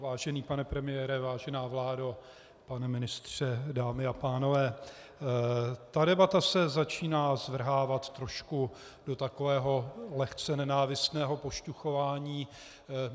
Vážený pane premiére, vážená vládo, pane ministře, dámy a pánové, ta debata se začíná zvrhávat trošku do takového lehce nenávistného pošťuchování.